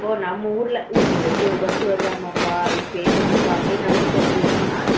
அப்போ நம்ம ஊருல ஊட்டில இப்படி ஒரு பஸ் வருதாம்மா இது வருதான் பா அது பேய் bus பா அப்படின்னு நமக்கு தெரிஞ்சதுனால